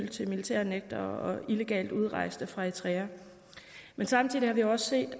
til militærnægtere og illegalt udrejste fra eritrea men samtidig har vi også set